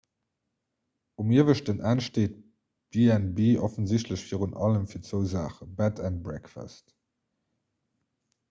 um ieweschten enn steet b&b offensichtlech virun allem fir zwou saachen bed and breakfast